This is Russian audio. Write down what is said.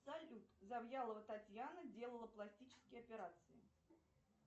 салют завьялова татьяна делала пластические операции